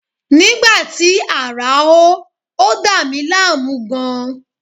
Nígbà tí ààrá hó, ó dà mí láàmú gan-an